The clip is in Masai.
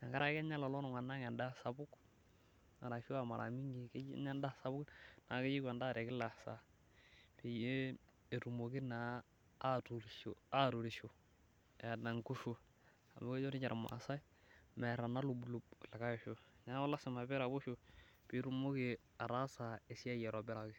amu kenyaa lolotunganak endaa sapuk arashu a maramingi kejo anyaa endaa sapuk keyieu endaa petumoki naa atuturisho eeta nkutuk amu kejo irmaasai mear inailublub likae osho neaku lasima peraposho pitumoki ataasa esiai aitobiraki .